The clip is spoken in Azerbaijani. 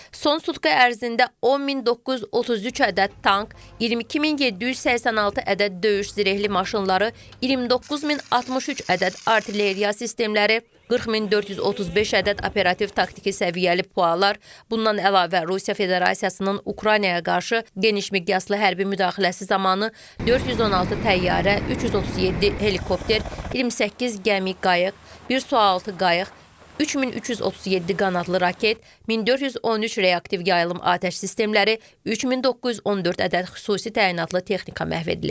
Son sutka ərzində 10933 ədəd tank, 22786 ədəd döyüş zirehli maşınları, 29063 ədəd artilleriya sistemləri, 40435 ədəd operativ taktiki səviyyəli PUA-lar, bundan əlavə Rusiya Federasiyasının Ukraynaya qarşı genişmiqyaslı hərbi müdaxiləsi zamanı 416 təyyarə, 337 helikopter, 28 gəmi qayıq, bir sualtı qayıq, 3337 qanadlı raket, 1413 reaktiv yayılım atəş sistemləri, 3914 ədəd xüsusi təyinatlı texnika məhv edilib.